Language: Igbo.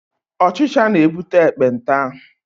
Ọchịcha na-ebute ekpenta.